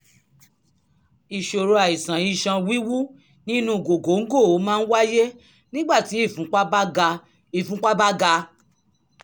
ìṣòro àìsàn iṣan wíwú nínú gògóńgò máa ń wáyé nígbàtí ìfúnpá bá ga ìfúnpá bá ga